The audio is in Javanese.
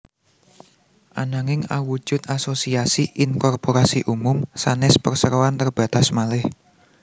Ananging awujud asosiasi inkorporasi umum sanès perseroan terbatas malih